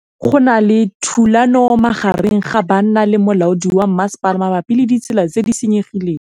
Go na le thulanô magareng ga banna le molaodi wa masepala mabapi le ditsela tse di senyegileng.